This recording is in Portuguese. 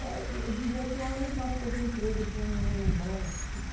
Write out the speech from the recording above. É, dizia assim, ah, eu não posso perder o emprego, eles vão me mandar embora.